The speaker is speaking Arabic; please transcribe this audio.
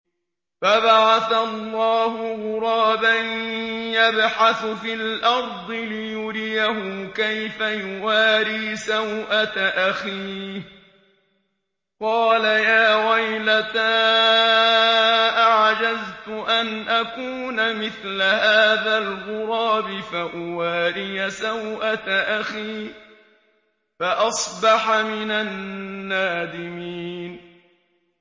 فَبَعَثَ اللَّهُ غُرَابًا يَبْحَثُ فِي الْأَرْضِ لِيُرِيَهُ كَيْفَ يُوَارِي سَوْءَةَ أَخِيهِ ۚ قَالَ يَا وَيْلَتَا أَعَجَزْتُ أَنْ أَكُونَ مِثْلَ هَٰذَا الْغُرَابِ فَأُوَارِيَ سَوْءَةَ أَخِي ۖ فَأَصْبَحَ مِنَ النَّادِمِينَ